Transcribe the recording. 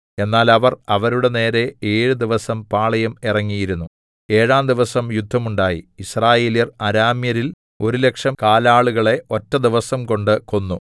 എന്നാൽ അവർ അവരുടെ നേരെ ഏഴു ദിവസം പാളയം ഇറങ്ങിയിരുന്നു ഏഴാം ദിവസം യുദ്ധമുണ്ടായി യിസ്രായേല്യർ അരാമ്യരിൽ ഒരു ലക്ഷം കാലാളുകളെ ഒറ്റ ദിവസംകൊണ്ട് കൊന്നു